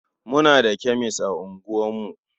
Muna da kemes a unguwarku.